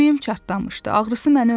Sümüyüm çartlamışdı, ağrısı məni öldürürdü.